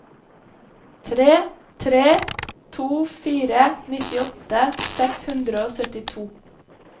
tre tre to fire nittiåtte seks hundre og syttito